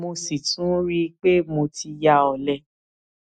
mo sì tún rí i i pé mo ti ya ọlẹ